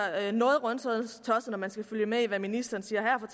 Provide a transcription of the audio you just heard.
noget rundtosset når man skal følge med i hvad ministeren siger her